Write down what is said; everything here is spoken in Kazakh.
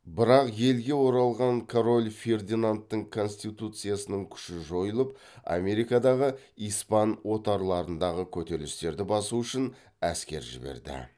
бірақ елге оралған король фердинандтың конституцияның күшін жойып америкадағы испан отарларындағы көтерілістерді басу үшін әскер жіберді